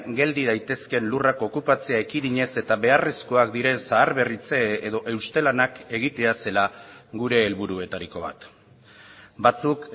geldi daitezkeen lurrak okupatzea ekidinez eta beharrezkoak diren zaharberritze edo euste lanak egitea zela gure helburuetariko bat batzuk